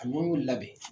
A nɔnɔ labɛn